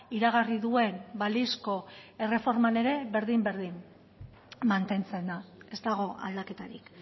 iragarri duen balizko erreforman ere berdin berdin mantentzen da ez dago aldaketarik